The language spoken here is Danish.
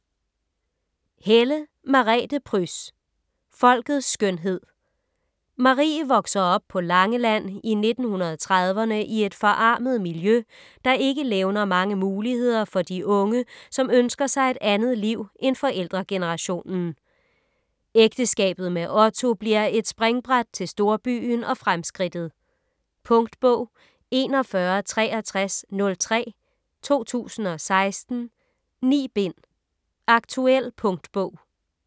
Helle, Merete Pryds: Folkets skønhed Marie vokser op på Langeland i 1930'erne i et forarmet miljø, der ikke levner mange muligheder for de unge, som ønsker sig et andet liv end forældregenerationen. Ægteskabet med Otto bliver et springbræt til storbyen og fremskridtet. Punktbog 416303 2016. 9 bind. Aktuel punktbog